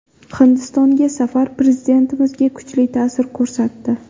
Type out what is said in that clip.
Hindistonga safar Prezidentimizga kuchli ta’sir ko‘rsatdi.